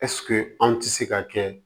anw tɛ se ka kɛ